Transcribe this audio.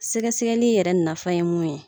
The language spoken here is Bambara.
Sɛgɛ sɛgɛli yɛrɛ nafan ye mun ye.